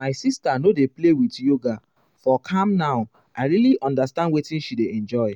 my sister no dey play with yoga for calm now i i really understand wetin she dey enjoy.